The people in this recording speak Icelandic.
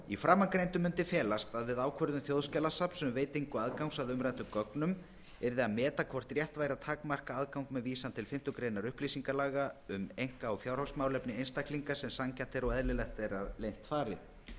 í framangreindu mundi felast að við ákvörðun þjóðskjalasafns um veitingu aðgangs að umræddum gögnum yrði að meta hvort rétt væri að takmarka aðgang með vísan til fimmtu grein upplýsingalaga um einka eða fjárhagsmálefni einstaklinga sem sanngjarnt er og eðlilegt að leynt fari